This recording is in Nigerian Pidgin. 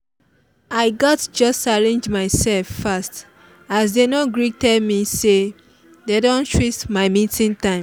i gatz just arrange myself fast as they no quick tell me say dey don switch my meeting time